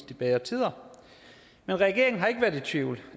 de bedre tider men regeringen har ikke været i tvivl